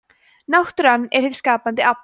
náttúran er hið skapandi afl